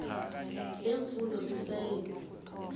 i leemfundo zesayensi